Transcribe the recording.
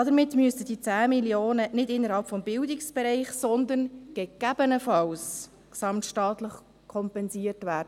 Somit müssen die 10 Mio. Franken nicht innerhalb des Bildungsbereichs, sondern gesamtstaatlich kompensiert werden.